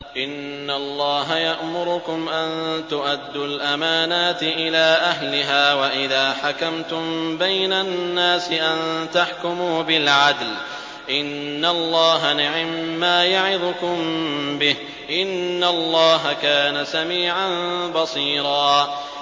۞ إِنَّ اللَّهَ يَأْمُرُكُمْ أَن تُؤَدُّوا الْأَمَانَاتِ إِلَىٰ أَهْلِهَا وَإِذَا حَكَمْتُم بَيْنَ النَّاسِ أَن تَحْكُمُوا بِالْعَدْلِ ۚ إِنَّ اللَّهَ نِعِمَّا يَعِظُكُم بِهِ ۗ إِنَّ اللَّهَ كَانَ سَمِيعًا بَصِيرًا